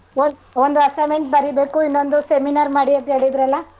ಒಂದ್~ ಒಂದು assignment ಬರೀಬೇಕು ಇನ್ನೊಂದ್ seminar ಮಾಡಿ ಅಂತ ಹೇಳಿದ್ರಲ್ಲಾ.